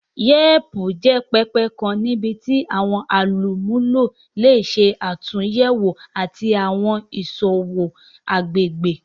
Yelp jẹ pẹpẹ kan nibiti awọn olumulo le ṣe atunyẹwo ati wa awọn iṣowo agbegbe.